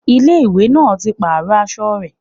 Ilé ìwé náà ti pàrọ̀ aṣọ rẹ̀